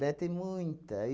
Né? Tem muita